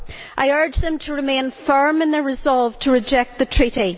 I urge them to remain firm in their resolve to reject the Treaty.